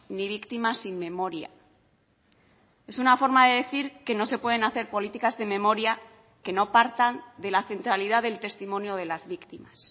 ni víctimas sin memoria es una forma de decir que no se pueden hacer políticas de memoria que no partan de la centralidad del testimonio de las víctimas